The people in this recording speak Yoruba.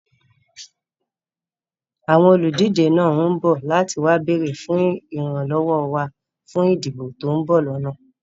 Àwọn olùdíje náà ń bọ̀ láti wá béèrè fún ìran lọ́wọ́ wá fún ìdìbò to ń bọ̀ lọ́nà